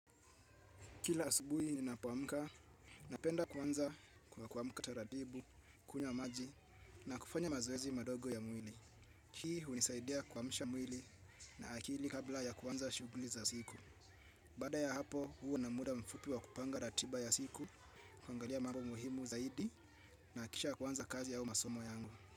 Kila asubuhi ninapoamka, napenda kuanza kwa kuamka taratibu, kunywa maji na kufanya mazoezi madogo ya mwili. Hii hunisaidia kuamsha mwili na akili kabla ya kuanza shughuli za siku. Baada ya hapo, huwa na muda mfupi wa kupanga ratiba ya siku, kuangalia mambo muhimu zaidi na kisha kuanza kazi au masomo yangu.